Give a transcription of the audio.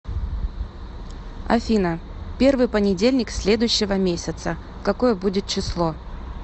афина первый понедельник следующего месяца какое будет число